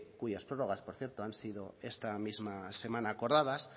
cuyas prórrogas por cierto han sido esta misma semana acordadas